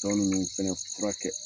Tɔ ninnu fɛnɛ fura kɛ